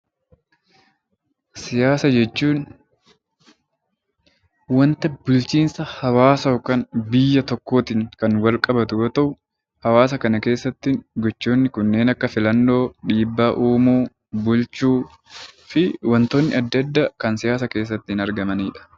Siyaasa jechuun wanta bulchiinsa hawaasa yookiin biyya tokkootiin kan wal qabatu yoo ta'u, hawaasa kana keessatti gochoonni kanneen akka filannoo, dhiibbaa uumuu, bulchuu fi wantoonni adda addaa kan keessatti argamanidha